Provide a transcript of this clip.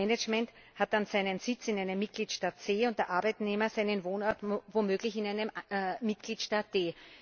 Das Management hat dann seinen Sitz in einem Mitgliedstaat C und der Arbeitnehmer seinen Wohnort womöglich in einem Mitgliedstaat D.